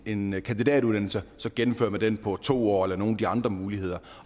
en kandidatuddannelse så gennemfører man den på to år eller nogle af de andre muligheder